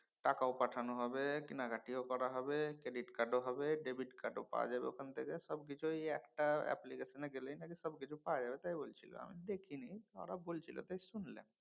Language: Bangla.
টাকাও পাঠানো হবে কেনাকাটিও করা হবে credit card ও হবে debit card ও পাওয়া যাবে ওখান থেকে। সবকিছু ঐ একটা application এ গেলেই নাকি সবকিছু পাওয়া যাবে। তাই বলছিলাম। দেখিনি ওরা বলছিল তাই শুনলেম।